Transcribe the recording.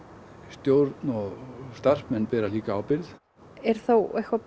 stjórn og starfsmenn bera líka ábyrgð er þá eitthvað